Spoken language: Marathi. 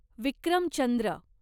विक्रम चंद्र